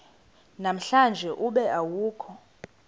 namhlanje ube awukho